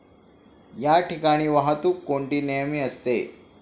या ठिकाणी वाहतूक कोंडी नेहमी असते.